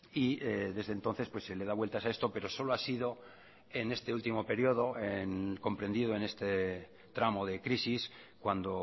y desde entonces pues se le da vueltas a esto pero solo ha sido en este último periodo comprendido en este tramo de crisis cuando